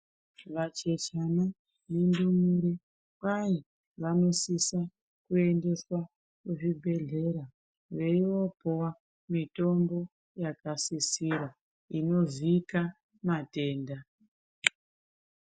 Vachechana nendumure kwai vanosisa kuendeswa kuzvibhehlera veiyopuwa mitombo yakasisira inozika matenda.